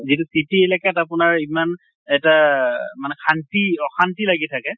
যিটো city এলেকাত আপোনাৰ ইমান এটা আহ মানে শান্তি অশান্তি লাগি থাকে।